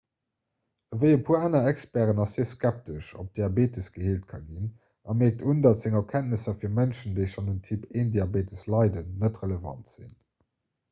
ewéi e puer aner experten ass hie skeptesch ob diabetes geheelt ka ginn a mierkt un datt seng erkenntnisser fir mënschen déi schonn un typ-1-diabetes leiden net relevant sinn